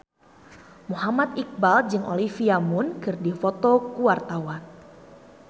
Muhammad Iqbal jeung Olivia Munn keur dipoto ku wartawan